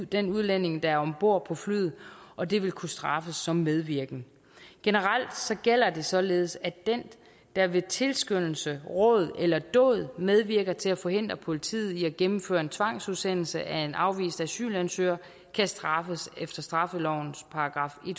den udlænding der er om bord på flyet og det vil kunne straffes som medvirken generelt gælder det således at den der ved tilskyndelse råd eller dåd medvirker til at forhindre politiet i at gennemføre en tvangsudsendelse af en afvist asylansøger kan straffes efter straffelovens §